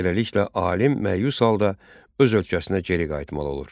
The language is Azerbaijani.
Beləliklə alim məyus halda öz ölkəsinə geri qayıtmalı olur.